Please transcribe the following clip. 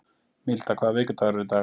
Milda, hvaða vikudagur er í dag?